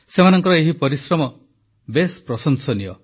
ସେମାନଙ୍କର ଏହି ପରିଶ୍ରମ ଖୁବ୍ ପ୍ରଶଂସନୀୟ